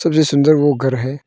सबसे सुंदर वो घर है।